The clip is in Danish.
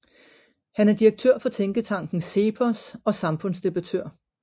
Han er direktør for tænketanken CEPOS og samfundsdebattør